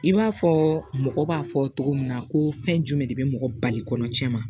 I b'a fɔ mɔgɔ b'a fɔ cogo min na ko fɛn jumɛn de bɛ mɔgɔ bali kɔnɔ tiɲɛ ma